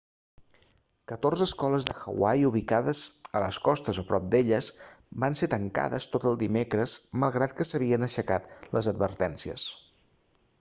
catorze escoles de hawaii ubicades a les costes o prop d'elles van ser tancades tot el dimecres malgrat que s'havien aixecat les advertències